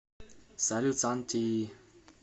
салют санти